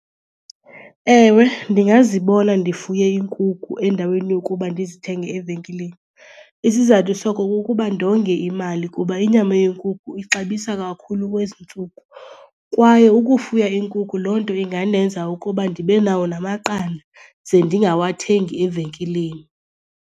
Ewe, ndingazibona ndifuye iinkukhu endaweni yokuba ndizithenge evenkileni. Isizathu soko kukuba ndonge imali kuba inyama yenkukhu ixabisa kakhulu kwezi ntsuku. Kwaye ukufuya iinkukhu loo nto ingandenza ukuba ndibe nawo namaqanda ze ndingawathengi evenkileni.